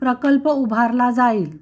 प्रकल्प उभारला जाईल